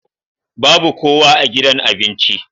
Babu kowa a gidan abinci.